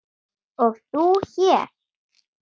og þú hér?